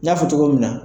N y'a fɔ cogo min na